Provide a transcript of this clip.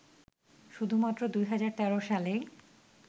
শুধুমাত্র ২০১৩ সালেই